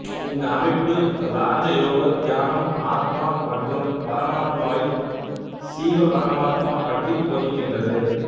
இந்த அமைப்பு இராஜ யோக தியானம் ஆத்மா மற்றும் பரமாத்மாவைப் சீவபரமாத்மா பற்றி போதிக்கின்றது